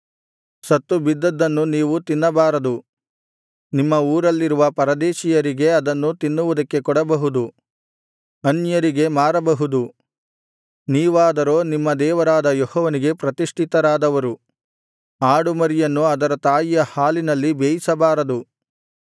ಸತ್ತುಬಿದ್ದದ್ದನ್ನು ನೀವು ತಿನ್ನಬಾರದು ನಿಮ್ಮ ಊರಲ್ಲಿರುವ ಪರದೇಶೀಯರಿಗೆ ಅದನ್ನು ತಿನ್ನುವುದಕ್ಕೆ ಕೊಡಬಹುದು ಅನ್ಯರಿಗೆ ಮಾರಬಹುದು ನೀವಾದರೋ ನಿಮ್ಮ ದೇವರಾದ ಯೆಹೋವನಿಗೆ ಪ್ರತಿಷ್ಠಿತರಾದವರು ಆಡುಮರಿಯನ್ನು ಅದರ ತಾಯಿಯ ಹಾಲಿನಲ್ಲಿ ಬೇಯಿಸಬಾರದು